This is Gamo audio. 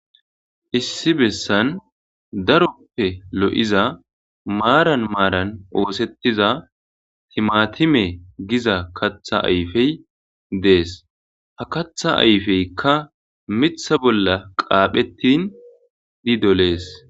Issi besan darope lo'iza maran maran osetiza timatime giza katha ayfe des katha ayfeka mitha bola qaphetin e doles.